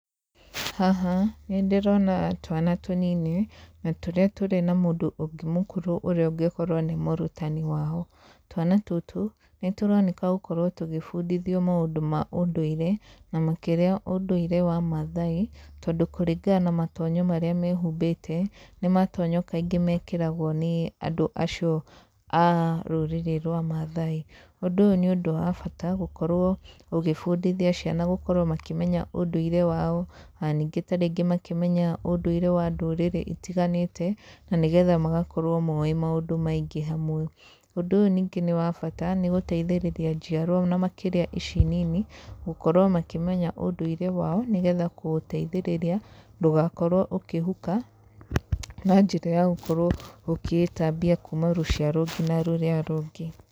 Haha nĩ ndĩrona twana tũnini, na tũrĩa tũrĩ na mũndũ ũngĩ mũkũrũ ũrĩa ũngĩkorwo nĩ mũrutani wao, twana tũtũ nĩ tũroneka gũkorwo tũgĩbundithio mũndũ ma ũndũire, na makĩria ũndũire wa Mathai, tondũ kũringana na matonyo marĩa mehumbĩte, nĩ matonyo kaingĩ mekĩragwo nĩ andũ acio a rũrĩrĩ rwa Mathai, ũndũ ũyũ nĩ ũndũ wa bata gũkorwo ũgĩbundithia ciana gũkorwo makĩmenya ũndũire wao, ona ningĩ ta rĩngĩ makĩmenya ũndũire wa ndũrĩrĩ itiganĩte, na nĩgetha magakorwo moĩ maũndũ maingĩ hamwe. Ũndũ ũyũ ningĩ nĩ wa bata nĩ gũteithĩrĩria njiarwa na makĩria ici nini, gũkorwo makĩmenya ũndũire wao, nĩgetha kũũteithĩrĩria ndũgakorwo ũkĩhuka na njĩra ya gũkorwo ũkĩĩtambia kuuma rũciaro nginya rũrĩa rũngĩ.